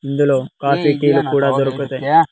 ఇందులో coffee tea లు కూడా దొరుకుతాయి.